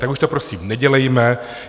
Tak už to prosím nedělejme.